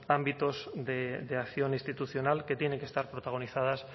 ámbitos de acción institucional que tienen que estar protagonizadas